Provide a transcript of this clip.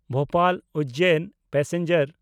Bhopal Ujjain passenger